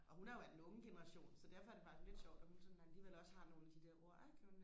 og hun er jo af den unge generation så derfor er det faktisk lidt sjovt at hun sådan alligevel også har nogle af de der ord ikke